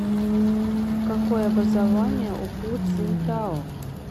какое образование у ху цзиньтао